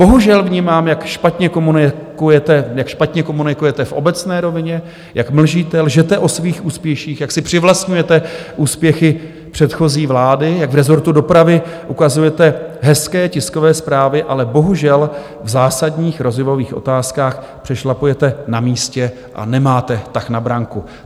Bohužel vnímám, jak špatně komunikujete v obecné rovině, jak mlžíte, lžete o svých úspěších, jak si přivlastňujete úspěchy předchozí vlády, jak v rezortu dopravy ukazujete hezké tiskové zprávy, ale bohužel v zásadních rozvojových otázkách přešlapujete na místě a nemáte tah na branku.